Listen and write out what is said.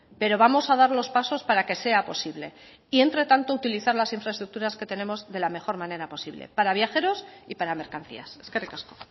pero vamos a dar los pasos para que sea posible y entretanto utilizar las infraestructuras que tenemos de la mejor manera posible para viajeros y para mercancías eskerrik asko